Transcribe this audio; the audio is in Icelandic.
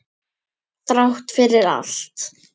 Þrátt fyrir allt.